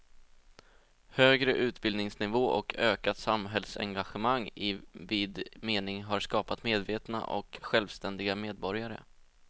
Högre utbildningsnivå och ökat samhällsengagemang i vid mening har skapat medvetna och självständiga medborgare.